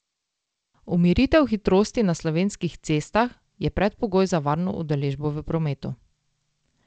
Umiritev hitrosti na slovenskih cestah je predpogoj za varno udeležbo v prometu.